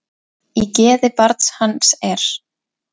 Í geði barn hans er.